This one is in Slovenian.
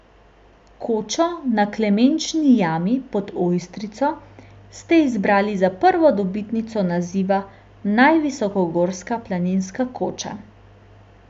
Kočo na Klemenči jami pod Ojstrico ste izbrali za prvo dobitnico naziva Naj visokogorska planinska koča.